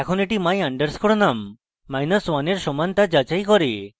এখন এটি my _ num1 এর সমান তা যাচাই করবে